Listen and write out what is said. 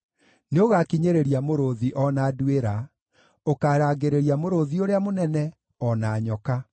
Nĩũgakinyĩrĩria mũrũũthi, o na nduĩra; ũkarangĩrĩria mũrũũthi ũrĩa mũnene, o na nyoka.